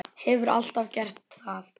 Hefur alltaf gert það.